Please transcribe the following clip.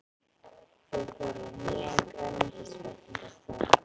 Þau fóru á nýjan grænmetisveitingastað.